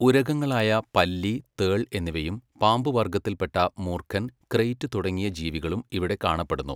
ഉരഗങ്ങളായ പല്ലി, തേൾ, എന്നിവയും പാമ്പു വർഗ്ഗത്തിൽപ്പെട്ട മൂർഖൻ, ക്രെയിറ്റ് തുടങ്ങിയ ജീവികളും ഇവിടെ കാണപ്പെടുന്നു.